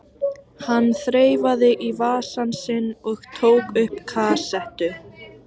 Hann þreifaði í vasann sinn og tók upp kassettu.